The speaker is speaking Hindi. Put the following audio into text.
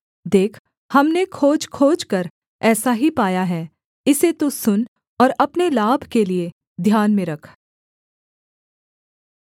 देख हमने खोज खोजकर ऐसा ही पाया है इसे तू सुन और अपने लाभ के लिये ध्यान में रख